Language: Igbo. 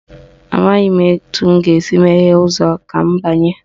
Amaghị m etu m ga-esi meghee ụzọ a ka m banye